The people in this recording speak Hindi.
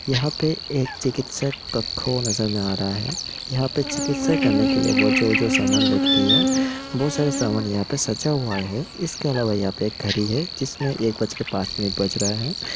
यहाँ पे एक चिकित्सक कखो नज़र में आ रहा है यहाँ पे चिकित्सा करने के लिए वो जो-जो सामान लिखती है वो सारे सामान यहाँ पे सजा हुआ है इसके अलावा यहाँ पे एक घड़ी है जिसमे एक बज के पांच मिनिट बज रहा है।